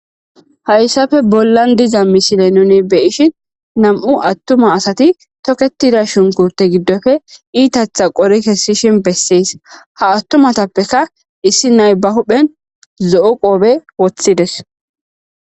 hayssafe bollan diza misile nuni be ishin nam7u attuma asati toketida shunkute giddofe iitatha qori kessishin bessees ha attumatappeka issi naybahudhphen zo7o qoobe woththides